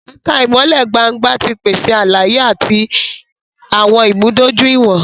Ẹka ìmọlẹ gbángba ti pese àlàyé ati awọn ìmúdójúìwọ̀n